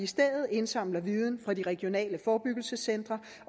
stedet indsamles viden fra de regionale forebyggelsescentre